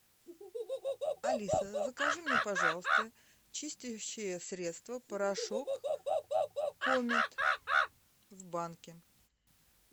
алиса закажи мне пожалуйста чистящее средство порошок комет в банке